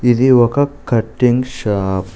ఇది ఒక cutting shop .